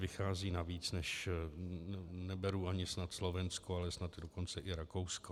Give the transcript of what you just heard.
Vychází na víc - neberu ani snad Slovensko, ale snad dokonce i Rakousko.